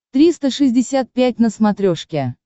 триста шестьдесят пять на смотрешке